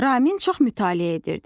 Ramin çox mütaliə edirdi.